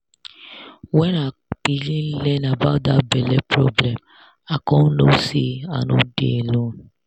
when i begin learn about that belle problem i come know say i no dey alone